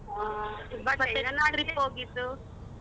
ಹಾ trip ಹೋಗಿದ್ದು.